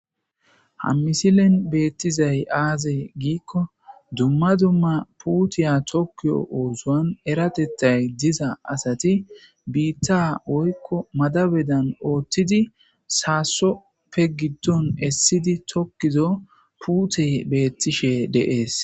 Ha misileni betizays azegiko duma duma putaya oson eratethay diza asati bita woyiko madabedan othizi sasope gidoni esidi tokizo putey betishe de'es